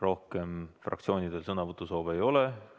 Rohkem fraktsioonidel sõnavõtusoove ei ole.